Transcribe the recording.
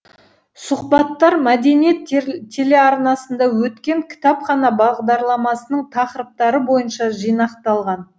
сұхбаттар мәдениет телеарнасында өткен кітапхана бағдарламасының тақырыптары бойынша жинақталған